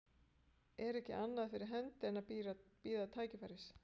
Er ekki annað fyrir hendi en að bíða tækifæris.